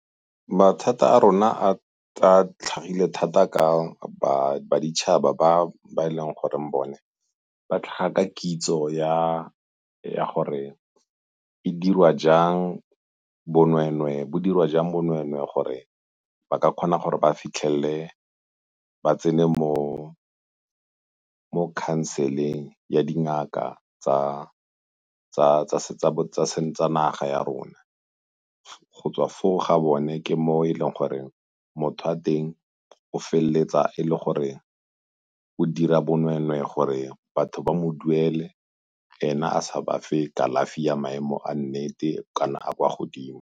Mathata a rona a tlhagile thata ka ba ditšhaba ba e leng gore bone ba tlhaga kitso ya gore bo dirwa jang bonweenwee gore ba ka kgona gore ba fitlhelele, ba tsene mo khanseleng ya dingaka tsa seng tsa naga ya rona. Go tswa foo ga bone ke mo e leng gore motho wa teng o feleletsa e le gore o dira bonweenwee gore batho ba mo duele ena a sa bafe kalafi ya maemo a nnete kana a a kwa godimo.